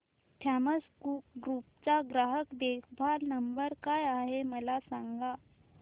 Thomas Cook group चा ग्राहक देखभाल नंबर काय आहे मला सांगा